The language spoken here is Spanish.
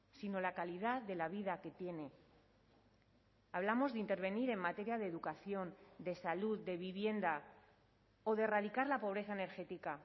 sino la calidad de la vida que tiene hablamos de intervenir en materia de educación de salud de vivienda o de erradicar la pobreza energética